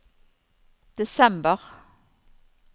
desember